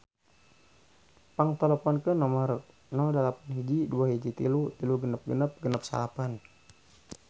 Pang teleponkeun nomer 08121336669